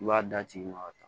I b'a d'a tigi ma ka taa